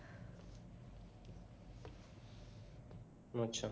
अच्छा